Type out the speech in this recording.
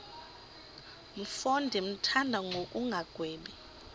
mfo ndimthanda ngokungagwebi